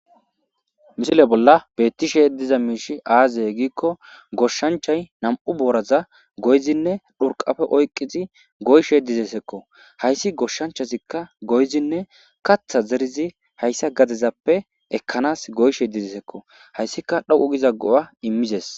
misile bolla beettishe diza miishi aazey giikko goshshanchay nam7u booraza goyzinne dhurqafe oyqqizi goyshe dizesekko hayssi goshshanchasikka goyzinne katha zerizi hayssa gadezappe ekkanas goyshe dizesekko hayssika dhaqu giza go7a immizes